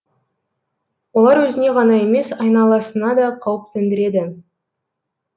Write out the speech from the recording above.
олар өзіне ғана емес айналасына да қауіп төндіреді